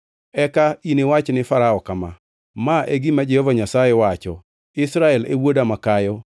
Eka iniwach ni Farao kama, ‘Ma e gima Jehova Nyasaye wacho: Israel e wuoda makayo,